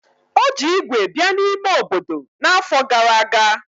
O ji ígwè bịa n'ime obodo n'afọ gara aga.